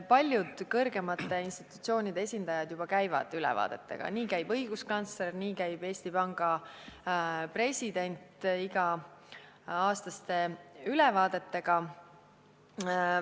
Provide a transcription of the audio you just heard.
Paljud kõrgemate institutsioonide esindajad juba käivad siin, näiteks õiguskantsler ja Eesti Panga president, iga-aastaste ülevaadetega.